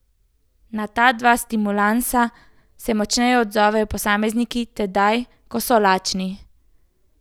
Na ta dva stimulansa se močneje odzovejo posamezniki tedaj, ko so lačni.